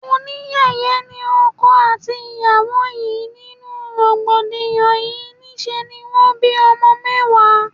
Oníyẹ̀yẹ́ ni ọkọ àti ìyàwó yìí, nínú rògbòdìyàn yí, ní ṣe ni wón bí ọmọ mẹ́wàá.